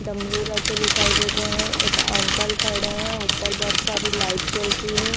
डमरू रखे दिखाई दे रहे हैं एक अंकल खड़े हैं ऊपर बहोत सारी लाइट जल रही है।